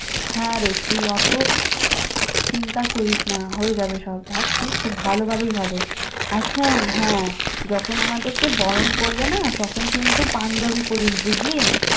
হ্যাঁ রে, তুই অত চিন্তা করিস না, হয়ে যাবে সব দ্যাখ তুই খুব ভালোভাবেই হবে। আর শোন হ্যাঁ, যখন আমাদেরকে বরণ করবে না, তখন কিন্তু পাঞ্জাবী পড়িস বুঝলি?